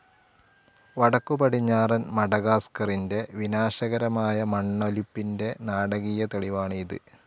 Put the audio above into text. വടക്കുപടിഞ്ഞാറൻ മഡഗാസ്കറിന്റെ വിനാശകരമായ മണ്ണൊലിപ്പിന്റെ നാടകീയ തെളിവാണ് ഇത്.